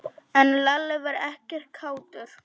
En Lalli var ekkert kátur.